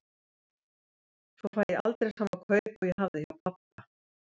Svo fæ ég aldrei sama kaup og ég hafði hjá pabba.